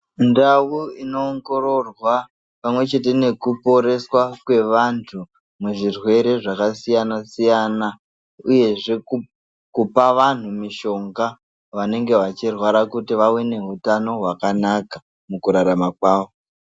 Ndau inoongororwa pamwechete nekuponeswa antu muzvirwere zvakasiyana-siyana uyezve kupa vantu mishonga vanenge vachirwara kuti vave nehutano hwakanaka mukurarama kwavo.